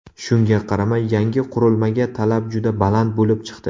Shunga qaramay, yangi qurilmaga talab juda baland bo‘lib chiqdi.